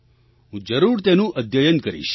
હું જરૂર તેનું અધ્યયન કરીશ